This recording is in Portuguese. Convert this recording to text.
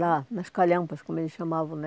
Lá, nas calhampas, como eles chamavam né.